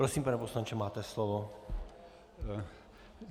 Prosím, pane poslanče, máte slovo.